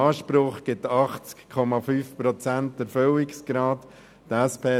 Das ergibt einen Erfüllungsgrad von 80,5 Prozent.